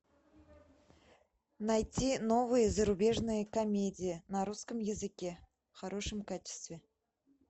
найти новые зарубежные комедии на русском языке в хорошем качестве